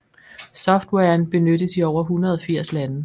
Softwaren benyttes i over 180 lande